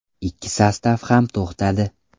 Ikki sostav ham to‘xtadi.